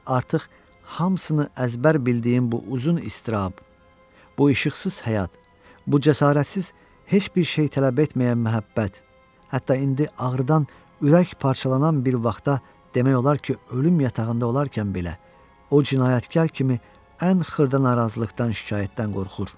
İndi artıq hamısını əzbər bildiyim bu uzun iztirab, bu işıqsız həyat, bu cəsarətsiz, heç bir şey tələb etməyən məhəbbət, hətta indi ağrıdan ürək parçalanan bir vaxta demək olar ki, ölüm yatağında olarkən belə o cinayətkar kimi ən xırda narazılıqdan, şikayətdən qorxur.